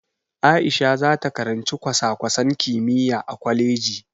A'isha zata karanci kwasa-kwasan kimiyya a kwaleji.